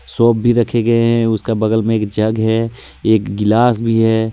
Soap भी रखे गए है उसका बगल में एक जग है एक गिलास भी है।